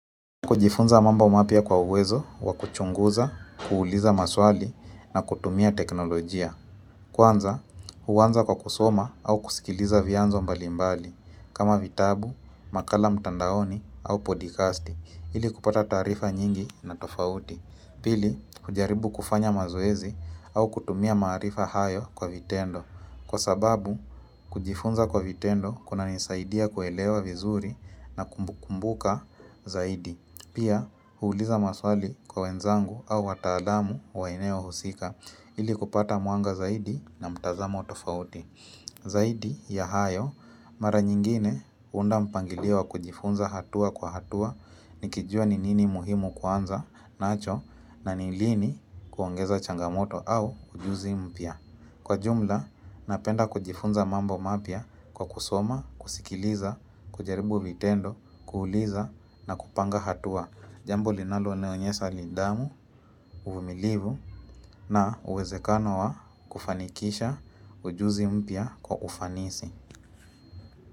Kujifunza mambo mapya kwa uwezo, kwa kuchunguza, kuuliza maswali, na kutumia teknolojia. Kwanza, huanza kwa kusoma au kusikiliza vianzo mbalimbali, kama vitabu, makala mtandaoni, au podikasti, ili kupata taarifa nyingi na tofauti. Pili, kujaribu kufanya mazoezi au kutumia maarifa hayo kwa vitendo. Kwa sababu, kujifunza kwa vitendo kuna nisaidia kuelewa vizuri na kukumbuka zaidi. Pia huuliza maswali kwa wenzangu au wataalamu wa eneo husika ili kupata mwanga zaidi na mtazamo tofauti. Zaidi ya hayo mara nyingine huunda mpangilio kujifunza hatua kwa hatua nikijua ni nini muhimu kwanza nacho na ni lini kuongeza changamoto au ujuzi mpya. Kwa jumla, napenda kujifunza mambo mapya kwa kusoma, kusikiliza, kujaribu vitendo, kuuliza na kupanga hatua. Jambo linalonionyesa nidhamu, uvumilivu na uwezekano wa kufanikisha ujuzi mpya kwa ufanisi.